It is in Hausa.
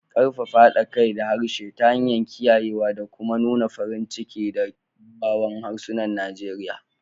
Ƙarfafa haɗa kai da harshe ta hanyar kiyayewa da kuma nuna farin ciki da kyawawan harsunan Nijeriya